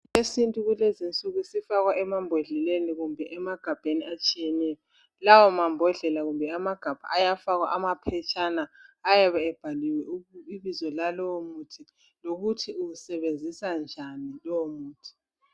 Isintu kulezi insuku sifakwa emabhondleleni kumbe emagambeni atshiyeneyo lawa mambondlela kumbe amagabha ayafakwa amaphetshana ayabe ebhaliwe ibizo lalowo muthi lokuthi uwusebenzisa njani lowo muthi.